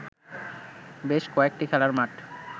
বেশ কয়েকটি খেলার মাঠ